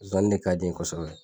Zani ne k'a di n ɲe kosɛbɛ.